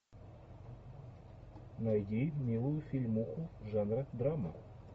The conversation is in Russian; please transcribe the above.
найди милую фильмуху жанра драма